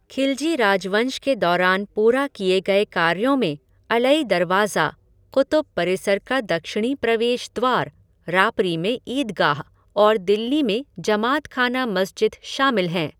खिलजी राजवंश के दौरान पूरा किए गए कार्यों में अलई दरवाज़ा, क़ुतुब परिसर का दक्षिणी प्रवेश द्वार, रापरी में ईदगाह और दिल्ली में जमात खाना मस्जिद शामिल हैं।